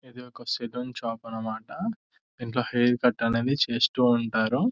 ఇది ఒక salon shop అనమాట ఇందులో హైర్క్యూట్ అనేది చేస్తుంటారు.